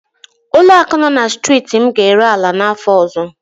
Ụlọaku nọ na striiti m ga-ere ala n'áfọ ọzọ.